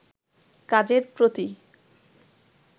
কাজের প্রতি